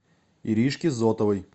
иришке зотовой